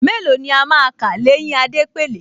Mélòó ni a máa kà l’éyín Adépèlé